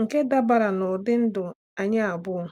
nke dabara n'ụdị ndụ anyị abụọ.